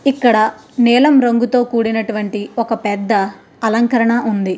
ఇక్కడ నీలం రంగుతో కూడినటు వంటి ఒక పెద్ద అలంకరణ ఉంది.